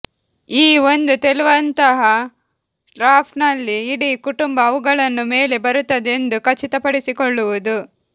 ಈ ಒಂದು ತೇಲುವಂತಹ ರಾಫ್ಟ್ ನಲ್ಲಿ ಇಡೀ ಕುಟುಂಬ ಅವುಗಳನ್ನು ಮೇಲೆ ಬರುತ್ತದೆ ಎಂದು ಖಚಿತಪಡಿಸಿಕೊಳ್ಳುವುದು